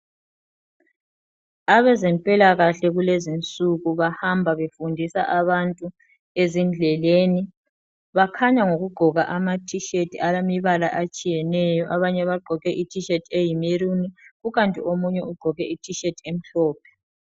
Abezempilakahle kulezi insuku bahamba befundisa abantu ezindleleni. Bakhanya ngokugqoka ama t-shirt alemibala etshiyeneyo. Abanye bagqoke amat-shirt ayimaroon. Kukanti omunye ugqoke it- shirt emhlophe.